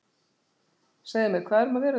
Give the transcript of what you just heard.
Segðu mér, hvað er um að vera hérna í kvöld?